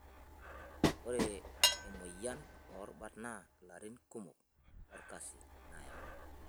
Ore emoyian oorubat naa larin kumok lolkasi nayau.